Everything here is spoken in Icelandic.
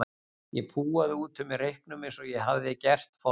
Ég púaði út úr mér reyknum eins og ég hafði gert forðum.